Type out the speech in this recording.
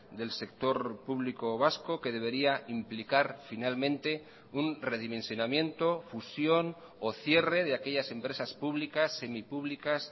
del sector público vasco que debería implicar finalmente un redimensionamiento fusión o cierre de aquellas empresas públicas semipúblicas